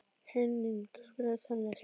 Henning, spilaðu tónlist.